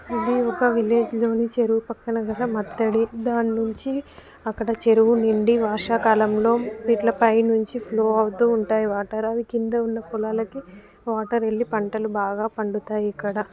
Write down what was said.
ఇది ఒక విలేజ్ లోనే చెరువు పక్కనే గల మత్తడి దాన్నుంచి అక్కడ చెరువు నుండి వర్షాకాలంలో ఇట్ల పైనుంచి ప్లో అవుతూ ఉంటాయి వాటర్ అవి కింద ఉన్న పొలాలకు వాటర్ వెళ్లి పంటలు బాగా పండుతాయి ఇక్కడ.